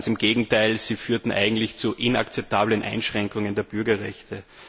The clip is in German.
Ganz im Gegenteil Sie führten eigentlich zu inakzeptablen Einschränkungen der Bürgerrechte.